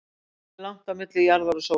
hvað er langt á milli jarðar og sólar